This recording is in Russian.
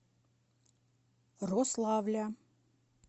рославля